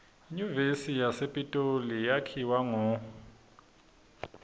inyuvesi yasepitoli yakhiwa ngo